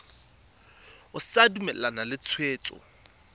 o sa dumalane le tshwetso